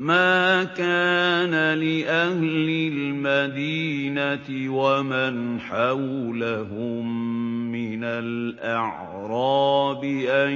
مَا كَانَ لِأَهْلِ الْمَدِينَةِ وَمَنْ حَوْلَهُم مِّنَ الْأَعْرَابِ أَن